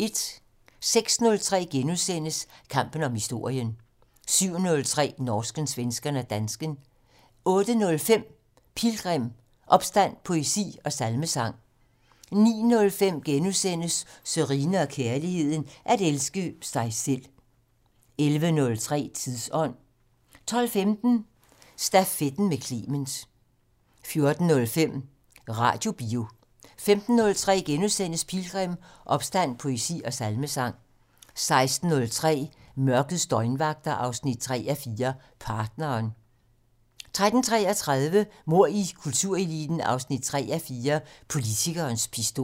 06:03: Kampen om historien * 07:03: Norsken, svensken og dansken 08:05: Pilgrim - Opstand, poesi og salmesang 09:05: Sørine & Kærligheden: At elske sig selv * 11:03: Tidsånd 12:15: Stafetten med Clement 14:05: Radiobio 15:03: Pilgrim - Opstand, poesi og salmesang * 16:03: Mørkets døgnvagter 3:4 - Partneren 16:33: Mord i kultureliten 3:4 - Politikerens pistol